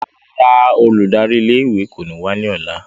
Rárá, óludari ìlé-ìwé ko ni wa ni ọla.